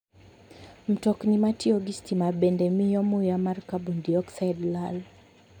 Mtokni matiyo gi stima bende miyo muya mar carbon dioxide lal.